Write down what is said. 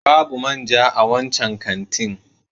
Babu man ja a wancan kantin.